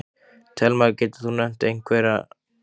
Telma: Getur þú nefnt einhverja?